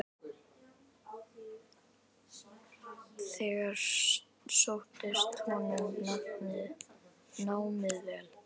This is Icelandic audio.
Þar sóttist honum námið vel.